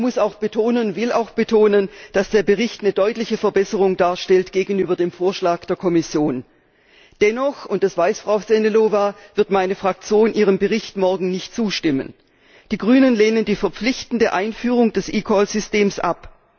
Ich muss und will auch betonen, dass der Bericht eine deutliche Verbesserung gegenüber dem Vorschlag der Kommission darstellt. Dennoch und das weiß Frau Sehnalová wird meine Fraktion ihrem Bericht morgen nicht zustimmen. Die Grünen lehnen die verpflichtende Einführung des eCall Systems ab.